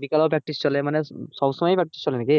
বিকালে ও practice চলে মানে সবসময় practice চলে নাকি?